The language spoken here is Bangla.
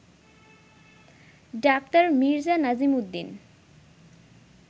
ডা. মির্জা নাজিমুদ্দিন